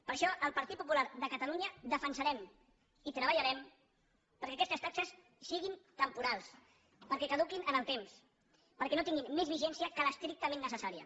per això el partit popular de catalunya defensarem i treballarem perquè aquestes taxes siguin temporals perquè caduquin en el temps perquè no tinguin més vigència que l’estrictament necessària